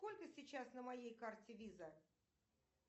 сколько сейчас на моей карте виза